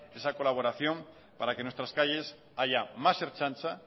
esa colaboración para que en nuestras calles haya más ertzaintza